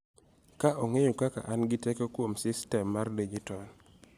Ka ong�eyo kaka an gi teko kuom sistem mar dijitol.